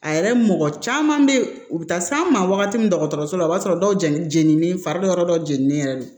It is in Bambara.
A yɛrɛ mɔgɔ caman bɛ ye u bɛ taa s'an ma wagati min dɔgɔtɔrɔso la o b'a sɔrɔ dɔw jeni jeninen fari yɔrɔ dɔ jeninen yɛrɛ de